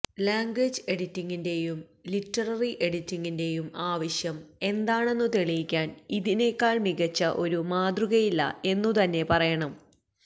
language എഡിറ്റിംഗിന്റെയും literary എഡിറ്റിംഗിന്റെയും ആവശ്യം എന്താണെന്നു തെളിയിക്കാൻ ഇതിനെക്കാൾ മികച്ച ഒരു മാതൃകയില്ല എന്നുതന്നെ പറയണം